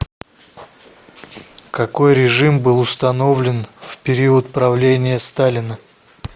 какой режим был установлен в период правления сталина